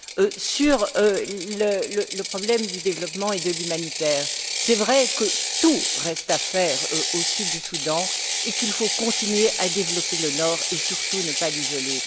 S'agissant du problème du développement et de l'humanitaire, il est vrai que tout reste à faire au Sud du Soudan, qu'il faut continuer à développer le Nord et surtout ne pas l'isoler.